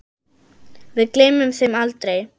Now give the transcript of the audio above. Við gleymum þeim aldrei.